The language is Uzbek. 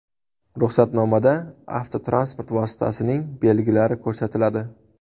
Ruxsatnomada avtotransport vositasining belgilari ko‘rsatiladi.